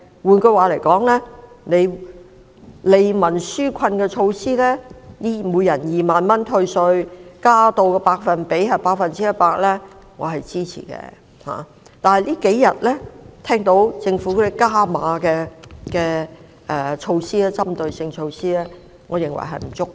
換言之，利民紓困的措施，每人2萬元退稅，增加百分比至 100%， 我是支持的，但政府這數天提出的"加碼"的針對性措施，我認為並不足夠。